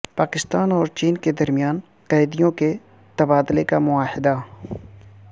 پاکستان اور چین کے درمیان قیدیوں کے تبادلے کا معاہدہ